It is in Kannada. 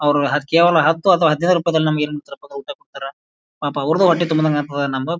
ಅವ್ರು ಕೇವಲ ಹತ್ತು ಅಥವಾ ಹದಿನೈದು ರೂಪಾಯಿದಲ್ಲಿ ನಮಗೆ ನಮಗೇನಂತ ಊಟ ಕೊಡ್ತಾರಾ. ಪಾಪ ಅವ್ರದ್ದು ಹೊಟ್ಟೆ ತುಂಬಿದಂಗ ಆಗ್ತದ. ನಮಗ--